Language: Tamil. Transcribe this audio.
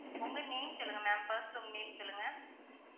உங்க name சொல்லுங்க ma'am first உங்க name சொல்லுங்க.